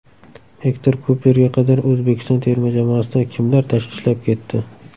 Ektor Kuperga qadar O‘zbekiston terma jamoasida kimlar ishlab ketdi?